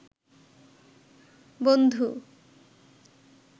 বন্ধু